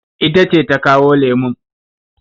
Ita ce ta kawo lemun.